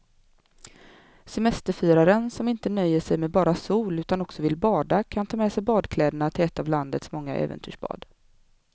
Semesterfiraren som inte nöjer sig med bara sol utan också vill bada kan ta med sig badkläderna till ett av landets många äventyrsbad.